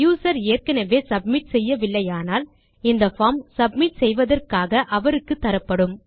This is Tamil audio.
யூசர் ஏற்கெனெவே சப்மிட் செய்யவில்லையானால் இந்த பார்ம் சப்மிட் செய்வதற்காக அவருக்குத்தரப்படும்